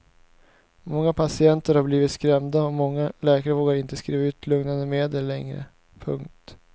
Många patienter har blivit skrämda och många läkare vågar inte skriva ut lugnande medel längre. punkt